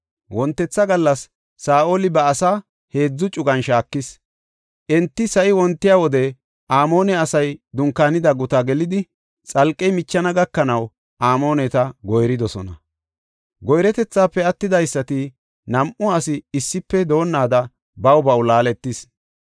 Wontetha gallas Saa7oli ba asaa heedzu cugan shaakis. Enti sa7i wontiya wode Amoone asay dunkaanida gutaa gelidi, xalqey michana gakanaw Amooneta goyridosona. Goyretethaafe attidaysati nam7u asi issife doonnaada baw baw baqaatis.